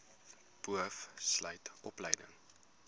boov sluit opleiding